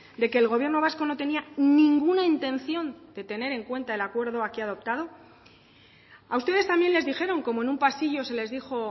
de que el gobierno vasco no tenía ninguna intención de tener en cuenta el acuerdo aquí adoptado a ustedes también les dijeron como en un pasillo se les dijo